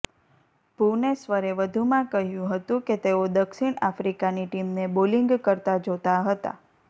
ભુવનેશ્વરે વધુમાં કહ્યું હતું કે તેઓ દક્ષિણ આફ્રિકાની ટીમને બોલિંગ કરતાં જોતા હતાં